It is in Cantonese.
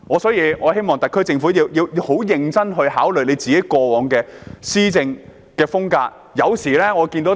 所以，我希望特區政府十分認真地檢討過往的施政風格。